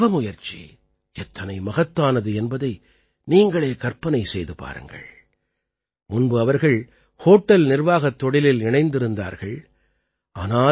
அவர்களுடைய தவமுயற்சி எத்தனை மகத்தானது என்பதை நீங்கள் கற்பனை செய்து பாருங்கள் முன்பு அவர்கள் ஹோட்டல் நிர்வாகத் தொழிலில் இணைந்திருந்தார்கள்